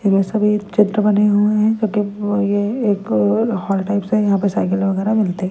इधर सभी चित्र बने हुए हैं जो कि ब ये एक हॉल टाइप से हैं यहाँ पे साइकिलें वगैरह मिलती है।